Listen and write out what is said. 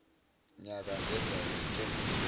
nyaka ngenza isethembiso